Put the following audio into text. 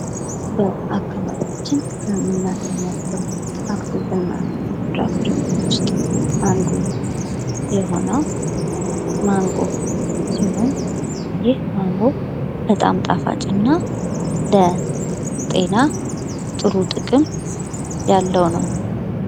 በአካባቢያችን ከምናገኛቸው አትክልትና ፍራፍሬዎች ውስጥ አንዱ የሆነው ማንጎ ሲሆን ፤ ይህ ማንጎ በጣም ጣፋጭና ለጤና ጥሩ ጥቅም ያለው ነው።